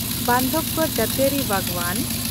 ᱵᱟᱱᱫᱷᱟᱣᱜᱚᱲ ᱡᱟᱹᱛᱤᱭᱟᱹᱨᱤ ᱵᱟᱜᱽᱣᱟᱱ